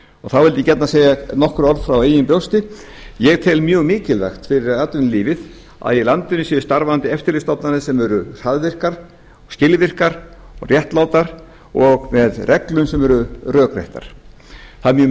þá vildi ég gjarnan segja nokkur orð frá eigin brjósti ég tel mjög mikilvægt fyrir atvinnulífið að í landinu séu starfandi eftirlitsstofnanir sem eru hraðvirkar skilvirkar réttlátar og með reglum sem eru rökréttar það er mjög